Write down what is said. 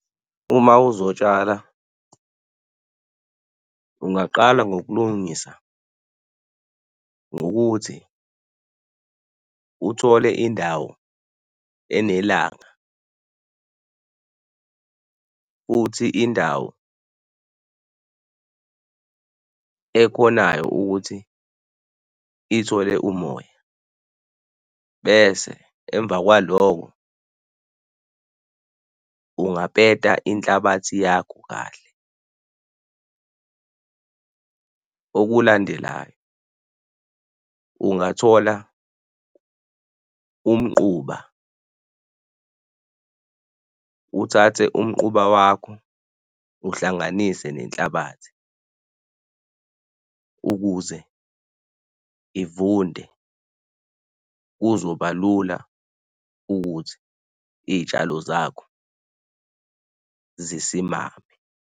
Uma uzotshala, ungaqala ngokulungisa ngokuthi uthole indawo enelanga futhi indawo ekhonayo ukuthi ithole umoya bese emva kwalokho ungapeta inhlabathi yakho kahle. Okulandelayo ungathola umquba, uthathe umquba wakho uhlanganise nenhlabathi ukuze ivunde kuzoba lula ukuthi izitshalo zakho zisimame.